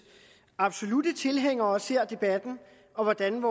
absolutte tilhængere ser debatten og hvordan